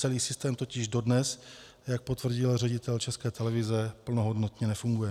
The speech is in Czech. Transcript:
Celý systém totiž dodnes, jak potvrdil ředitel České televize, plnohodnotně nefunguje.